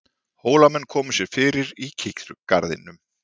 Hólamenn komu sér fyrir í kirkjugarðinum.